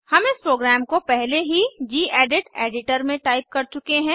हम इस प्रोग्राम को पहले ही गेडिट एडिटर में टाइप कर चुके हैं